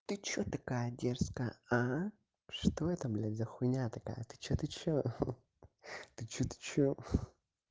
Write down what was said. ты чё такая дерзкая а что это блядь за хуйня такая ты что ты что ты что ты что